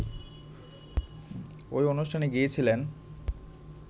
ওই অনুষ্ঠানে গিয়েছিলেন